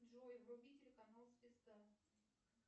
джой вруби телеканал звезда